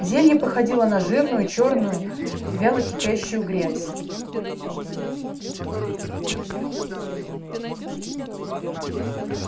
зелье походило на жирную чёрную вяло кипящую грязь